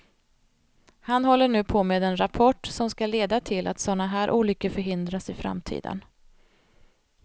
Han håller nu på med en rapport som skall leda till att såna här olyckor förhindras i framtiden.